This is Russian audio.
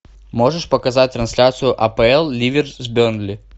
можешь показать трансляцию апл ливер с бернли